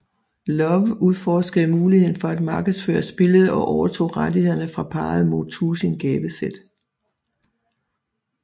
Lowe udforskede muligheden for at markedsføre spillet og overtog rettighederne fra parret mod tusind gavesæt